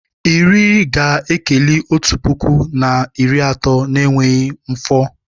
Iri ga-ekeli otu puku na iri atọ n'enweghị mmafọ